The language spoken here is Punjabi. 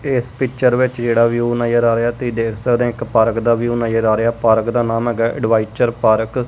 ਏਸ ਪਿੱਚਰ ਵਿੱਚ ਜਿਹੜਾ ਵਿਊ ਨਜ਼ਰ ਆ ਰਿਹਾ ਤੁਹੀ ਦੇਖ ਸਕਦੇ ਆਂ ਇੱਕ ਪਾਰਕ ਦਾ ਵਿਊ ਨਜ਼ਰ ਆ ਰਿਹਾ ਪਾਰਕ ਦਾ ਨਾਮ ਹੈਗਾ ਐਡਵਾਈਚਰ ਪਾਰਕ ।